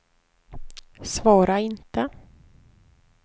svara inte